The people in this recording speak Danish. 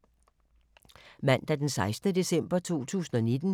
Mandag d. 16. december 2019